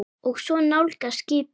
Og svo nálgast skipið.